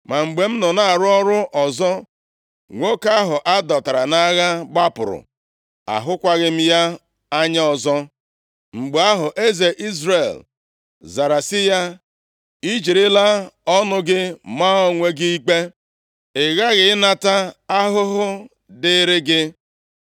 Ma mgbe m nọ na-arụ ọrụ ọzọ, nwoke ahụ a dọtara nʼagha gbapụrụ. Ahụkwaghị m ya anya ọzọ.” Mgbe ahụ, eze Izrel zara sị ya, “I jirila ọnụ gị maa onwe gị ikpe. Ị ghaghị ịnata ahụhụ dịrị gị.”